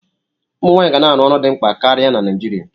Ụmụ nwanyị ga-arụ ọrụ dị mkpa karịa na Nigeria.